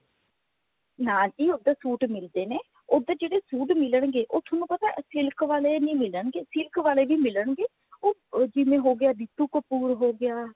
ਨਾ ਜੀ ਉਧਰ suit ਮਿਲਦੇ ਨੇ ਉਧਰ ਜਿਹੜੇ suit ਮਿਲਣਗੇ ਉਹ ਤੁਹਾਨੂੰ ਪਤਾ silk ਵਾਲੇ ਨਹੀਂ ਮਿਲਣਗੇ silk ਵਾਲੇ ਵੀ ਮਿਲਣਗੇ ਉਹ ਉਹ ਜਿਵੇਂ ਹੋ ਗਿਆ ਰੀਤੂ ਕਪੂਰ ਹੋ ਗਿਆ